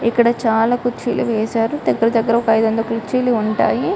ఇక్కడ చాలా కుర్చీలు వేశారు దగ్గర దగ్గర ఐదువందల కుర్చీలు వేశారు